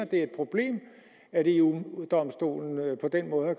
det er et problem at eu domstolen på den måde